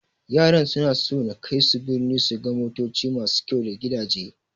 Yaran suna so na kaisu birni su ga motoci masu kyau da gidaje.